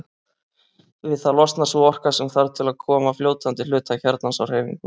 Við það losnar sú orka sem þarf til að koma fljótandi hluta kjarnans á hreyfingu.